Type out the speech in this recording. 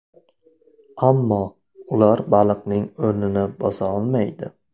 Ammo ular baliqning o‘rnini bosa olmaydi.